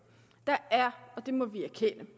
der er og det må vi erkende